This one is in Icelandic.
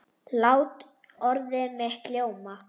Lát orð mitt ljóma.